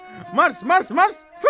Mars, Mars, Mars, hut, hut, hut.